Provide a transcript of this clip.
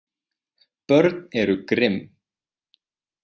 Börn eru grimm.